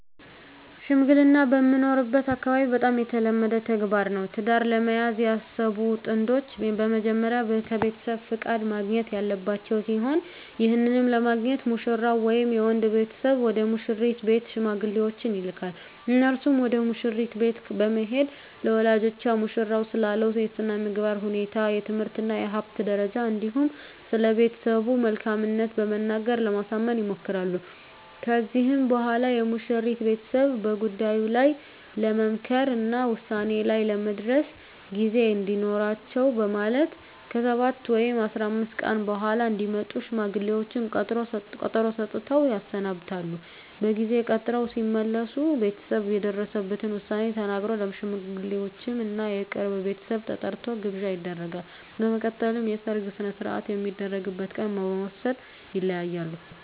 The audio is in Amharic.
ሽምግልና በምኖርበት አካባቢ በጣም የተለመደ ተግባር ነው። ትዳር ለመያዝ ያሰቡ ጥንዶች በመጀመሪያ ከቤተሰብ ፍቃድ ማግኘት ያለባቸው ሲሆን ይህንንም ለማግኘት ሙሽራው ወይም የወንድ ቤተሰብ ወደ ሙሽሪት ቤት ሽማግሌዎችን ይልካል። እነርሱም ወደ መሽሪት ቤት በመሄድ ለወላጆቿ ሙሽራው ስላለው የስነምግባር ሁኔታ፣ የትምህርት እና የሀብት ደረጃ እንዲሁም ስለቤተሰቡ መልካምት በመናገር ለማሳመን ይሞክራሉ። ከዚህም በኋላ የሙሽሪት ቤተሰብ በጉዳዩ ላይ ለመምከር እና ውሳኔ ላይ ለመድረስ ጊዜ እንዲኖራቸው በማለት ከ7 ወይም 15 ቀን በኃላ እንዲመጡ ሽማግሌዎቹን ቀጠሮ ሰጥተው ያሰናብታሉ። በጊዜ ቀጠሮው ሲመለሱ ቤተሰብ የደረሰበትን ዉሳኔ ተናግሮ፣ ለሽማግሌወቹም እና የቅርብ ቤተሰብ ተጠርቶ ግብዣ ይደረጋል። በመቀጠልም የሰርጉ ሰነሰርአት የሚደረግበት ቀን በመወስን ይለያያሉ።